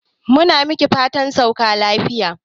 Mu na miki fatan sauka lafiya.